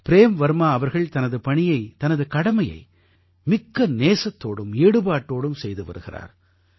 frame Varma அவர்கள் தனது பணியை தனது கடமையை மிக்க நேசத்தோடும் ஈடுபாட்டோடும் செய்து வருகிறார்